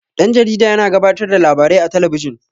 Dan-jarida yana gabatar da labarai a talabijin.